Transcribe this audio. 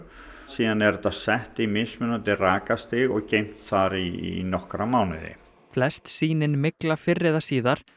síðan er það sett í mismunandi rakastig og geymt þar í nokkra mánuði flest sýnin mygla fyrr eða síðar